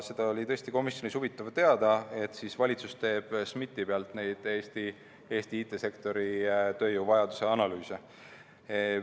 Seda oli tõesti komisjonis huvitav teada saada, et valitsus teeb SMIT‑i pealt Eesti IT‑sektori tööjõuvajaduse analüüse.